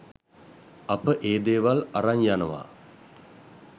අප ඒ දේවල් අරන් යනවා.